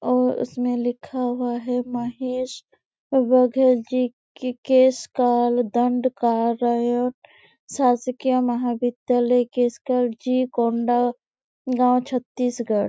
और उसमे लिखा हुआ है महेश और बघेल जी केशकाल दण्डकारण्य शासकीय महाविद्यालय केशकाल जी कोंडागांव छतीसगढ़--